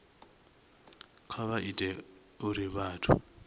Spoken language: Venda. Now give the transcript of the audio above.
kha vha ite uri vhathu